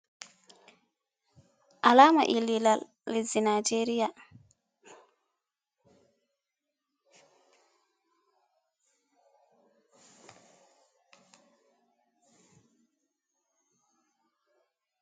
Alama ililal leasɗi Naijeriya.